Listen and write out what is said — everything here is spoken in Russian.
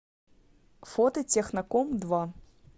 фото техноком два